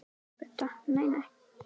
Budda: Nei, nei.